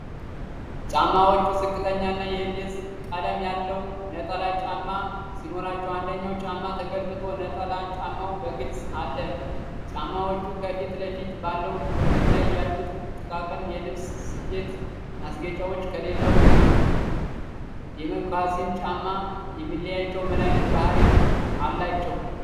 ጫማዎቹ ዝቅተኛና የቢዥ (beige) ቀለም ያለው ነጠላ ጫማ ሲኖራቸው፣ አንደኛው ጫማ ተገልብጦ ነጠላ ጫማው በግልፅ አለ። ጫማዎቹ ከፊት ለፊት ባለው ክፍል ላይ ያሉት ጥቃቅን የልብስ ስፌት ማስጌጫዎች ከሌላው የሞካሲን ጫማ የሚለያቸው ምን ዓይነት ባህሪ አላቸው?